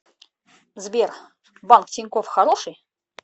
сбер банк тинькофф хороший